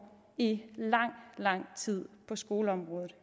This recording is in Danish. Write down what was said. i lang lang tid på skoleområdet